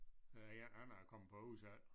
Øh ja Anna er kommet på udsalg